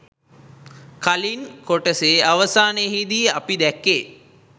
කලින් කොටසෙ අවසානයෙදි අපි දැක්කේ